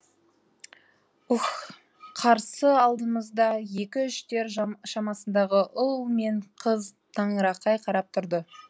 үһ қарсы алдымызда екі үштер шамасындағы ұл ман қыз таңырқай қарап тұрды